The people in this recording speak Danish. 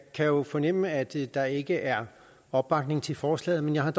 kan jo fornemme at der ikke er opbakning til forslaget men jeg har